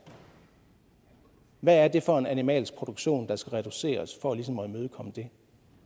hvad er det for en animalsk produktion der skal reduceres for ligesom at imødekomme det